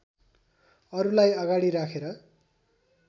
अरुलाई अगाडि राखेर